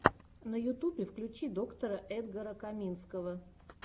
на ютубе включи доктора эдгара каминского